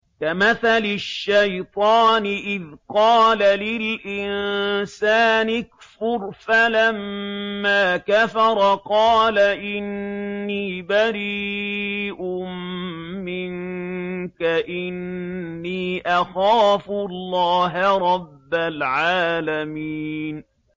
كَمَثَلِ الشَّيْطَانِ إِذْ قَالَ لِلْإِنسَانِ اكْفُرْ فَلَمَّا كَفَرَ قَالَ إِنِّي بَرِيءٌ مِّنكَ إِنِّي أَخَافُ اللَّهَ رَبَّ الْعَالَمِينَ